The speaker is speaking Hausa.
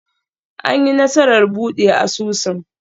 An yi nasarar buɗe asusun?